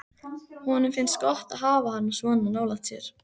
Honum finnst gott að hafa hana svona nálægt sér.